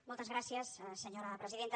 moltes gràcies senyora presidenta